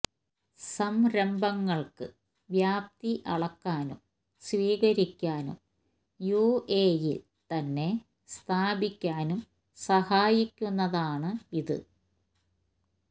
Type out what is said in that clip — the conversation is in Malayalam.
സംരംഭങ്ങൾക്ക് വ്യാപ്തി അളക്കാനും സ്വീകരിക്കാനും യു എ ഇയിൽ തന്നെ സ്ഥാപിക്കാനും സഹായിക്കുന്നതാണ് ഇത്